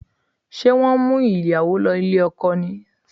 Ṣé wọ́n ń mú ìyàwó lọ ilé ọkọ ni?